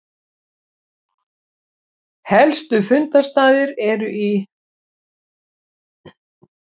Helstu fundarstaðir eru í